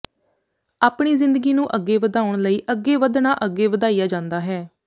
ਆਪਣੀ ਜ਼ਿੰਦਗੀ ਨੂੰ ਅੱਗੇ ਵਧਾਉਣ ਲਈ ਅੱਗੇ ਵਧਣਾ ਅੱਗੇ ਵਧਾਇਆ ਜਾਂਦਾ ਹੈ